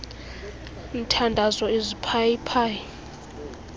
mthandazo iziphayi phayi